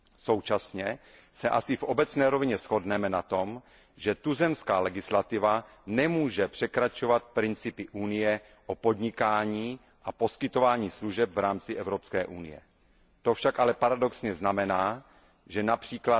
Současně se asi v obecné rovině shodneme na tom, že tuzemská legislativa nemůže překračovat principy Unie o podnikání a poskytování služeb v rámci Evropské unie. To však ale paradoxně znamená, že např.